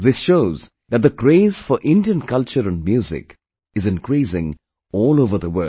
This shows that the craze for Indian culture and music is increasing all over the world